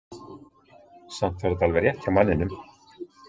Samt var þetta alveg rétt hjá manninum.